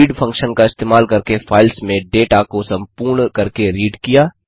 read function का इस्तेमाल करके फाइल्स में डेटा को सम्पूर्ण करके रीड किया